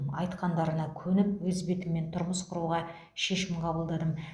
айтқандарына көніп өз бетіммен тұрмыс құруға шешім қабылдадым